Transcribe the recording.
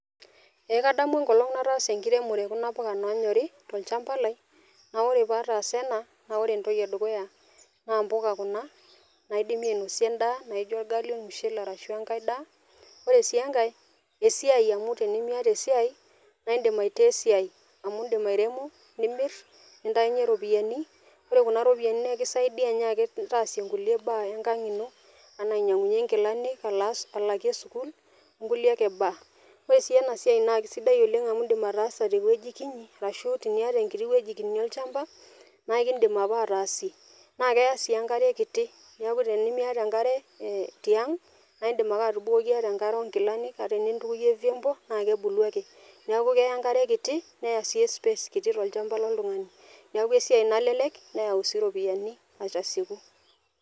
Eee kadamu enkolong' nataasa enkiremore o kuna puka naanyori tolchamba lai naa ore pataasa ena naa ore entoki edukuya naa mpuka kuna naidimi ainosie endaa naijo orgali, ormushele arashu enkae daa. Ore sii enkae esiai amu tenimiyata esiai naa indim aitaa esiai amu indim airemo, nimir, nintayunye ropiani ore kuna ropiani nekisaidia nyaaki taasie nkulie baa enkang' ino anaa ainyang'unye nkilanik, alas alakie sukuul o nkulie ake baa. Ore sii ena siai naake sidai oleng' amu iindim ataasa te wueji kinyi arashu teniyata enkinyi wueji kinyi olchamba naake indim ake ataasie naeke eya sii enkare kiti, neeku tenimiyata enkare tiang', naaye indim ake atubukoki ata enkare o nkilanik ata enintukuyie vyombo, naake ebulu ake. Neeku keya enkare kiti neya sii e space kiti tolchamba loltung'ani. Neeku esiai nalelek neyau sii ropiani aitasieku.